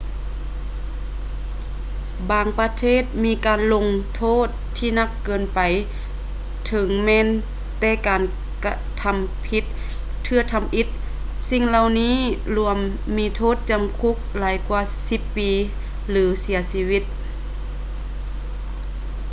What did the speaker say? ບາງປະເທດມີການລົງໂທດທີ່ໜັກເກີນໄປເຖິງແມ່ນແຕ່ການກະທຳຜິດເທື່ອທຳອິດ ສິ່ງເຫຼົ່ານີ້ລວມມີໂທດຈຳຄຸກຫຼາຍກວ່າ 10 ປີ ຫຼື ເສຍຊີວິດ